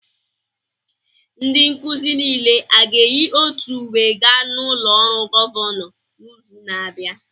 Ndị nkuzi niile aga-eyi otu uwe gaa n'ụlọ ọrụ gọvanọ n'izu na-abịa?